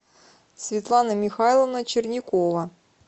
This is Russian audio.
светлана михайловна черникова